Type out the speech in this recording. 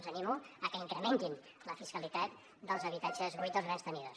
els animo a que incrementin la fiscalitat dels habitatges buits dels grans tenidors